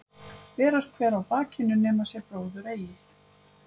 Ber er hver á bakinu nema sér bróðir sér eigi.